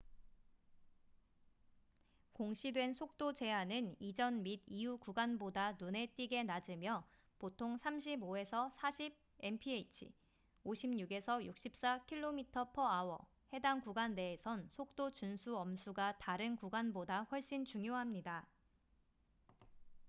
공시된 속도 제한은 이전 및 이후 구간보다 눈에 띄게 낮으며 - 보통 35-40 mph56-64 km/h - 해당 구간 내에선 속도 준수 엄수가 다른 구간보다 훨씬 중요합니다